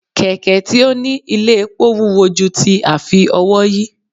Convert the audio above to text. kẹkẹ tí o ní ilé epó wúwo ju ti afi-ówòyí